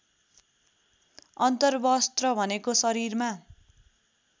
अन्तर्वस्त्र भनेको शरीरमा